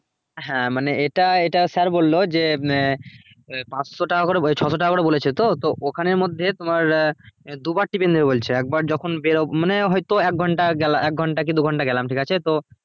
হ্যাঁ মানে এটা এটা sir বললো যে মে~ পাঁচশো টাকা করে ওই ছশো টাকা করে বলেছে তো তো ওখানের মধ্যে তোমার আহ দু বার tiffin নেবে বলছে একবার যখন বের~ মানে হয়তো এক ঘন্টা গেলে এক ঘন্টা কি দু ঘন্টা গেলাম ঠিক আছে তো